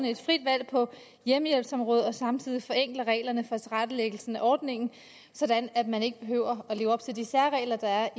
et frit valg på hjemmehjælpsområdet og samtidig forenkler reglerne for tilrettelæggelsen af ordningen sådan at man ikke behøver at leve op til de særregler der